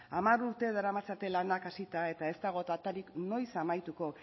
hamar urte daramatzate lanak hasita eta ez dago datarik noiz amaituko